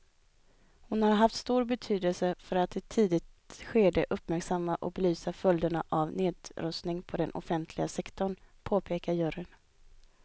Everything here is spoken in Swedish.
Hon har haft stor betydelse för att i ett tidigt skede uppmärksamma och belysa följderna av nedrustning på den offentliga sektorn, påpekar juryn.